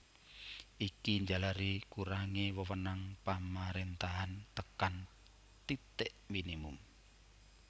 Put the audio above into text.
Iki njalari kurangé wewenang pamaréntahan tekan titik minimum